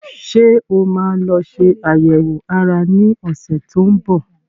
Ṣé o máa lọ ṣe àyẹ̀wò ara ní ọ̀sẹ̀ tó ń bọ̀?